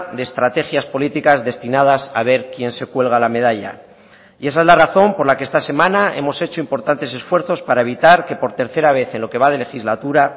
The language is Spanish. de estrategias políticas destinadas a ver quién se cuelga la medalla y esa es la razón por la que esta semana hemos hecho importantes esfuerzos para evitar que por tercera vez en lo que va de legislatura